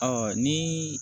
Ɔ ni